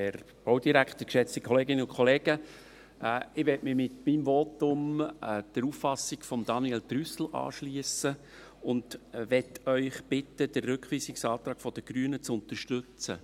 Ich möchte mich mit meinem Votum der Auffassung von Daniel Trüssel anschliessen und möchte Sie bitten, den Rückweisungsantrag der Grünen zu unterstützen.